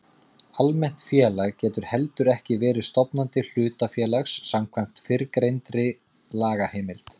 Almennt félag getur heldur ekki verið stofnandi hlutafélags samkvæmt fyrrgreindri lagaheimild.